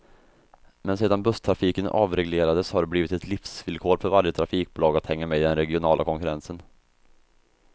Men sedan busstrafiken avreglerades har det blivit ett livsvillkor för varje trafikbolag att hänga med i den regionala konkurrensen.